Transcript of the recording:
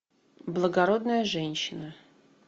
благородная женщина